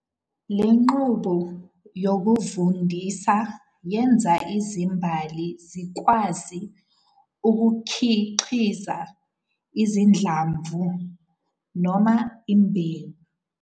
Le nqubo yokuvundisa yenza izimbali zikwazi ukukhiqiza izinhlamvu - imbewu.